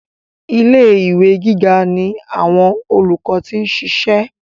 Ilé ìwé gíga ni àwọn olùkọ́ ti ń ṣiṣẹ́.